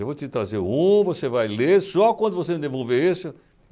Eu vou te trazer um, você vai ler, só quando você me devolver esse.